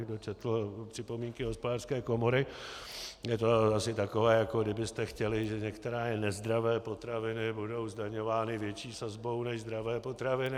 Kdo četl připomínky Hospodářské komory, je to asi takové, jako kdybyste chtěli, že některé nezdravé potraviny budou zdaňovány větší sazbou než zdravé potraviny.